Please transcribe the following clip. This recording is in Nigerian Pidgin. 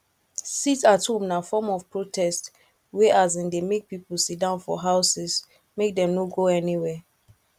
sit at home na form of protest wey um de make pipo sitdown for houses make dem no go anywhere